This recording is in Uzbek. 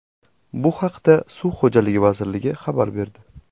Bu haqda Suv xo‘jaligi vazirligi xabar berdi .